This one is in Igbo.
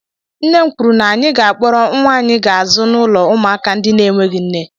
Nne m kwuru na anyị ga-akpọrọ nwa anyị ga-azụ n'ụlọ ụmụaka ndị na-enweghị nne.